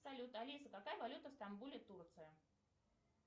салют алиса какая валюта в стамбуле турция